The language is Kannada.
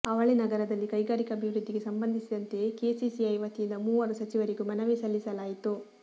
ಅವಳಿನಗರದಲ್ಲಿ ಕೈಗಾರಿಕಾಭಿವೃದ್ಧಿಗೆ ಸಂಬಂಧಿಸಿದಂತೆ ಕೆಸಿಸಿಐ ವತಿಯಿಂದ ಮೂವರು ಸಚಿವರಿಗೂ ಮನವಿ ಸಲ್ಲಿಸಲಾಯಿತು